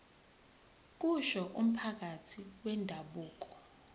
kusho umphathi wendabuko